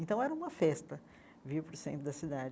Então, era uma festa vir para o centro da cidade.